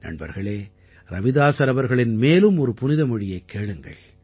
நண்பர்களே ரவிதாஸர் அவர்களின் மேலும் ஒரு புனித மொழியைக் கேளுங்கள்